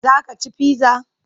Za ka ci pizza?